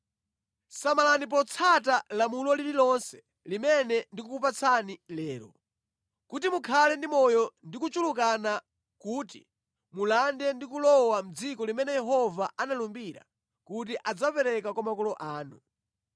Samalani potsata lamulo lililonse limene ndikukupatsani lero, kuti mukhale ndi moyo ndi kuchulukana kuti mulande ndi kulowa mʼdziko limene Yehova analumbira kuti adzapereka kwa makolo anu.